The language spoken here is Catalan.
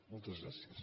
moltes gràcies